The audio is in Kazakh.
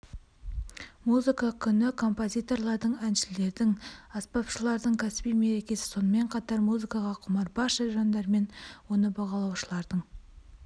музыка күні композиторлардың әншілердің аспапшылардың кәсіби мерекесі сонымен қатар музыкаға құмар барша жандар мен оны бағалаушылардың